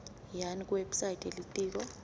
yani kuwebsite yelitiko